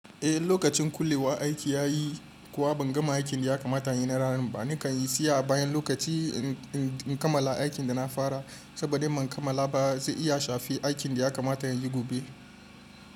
Eh, lokacin kullewa aiki ya yi kuwa ban gama aikin da ya kamata in yin na ranan ba. Nakan yi tsaya bayan lokaci in kamala aikin da na fara saboda in ban kamala ba zai iya shafi aikin da ya kamata in yin gobe.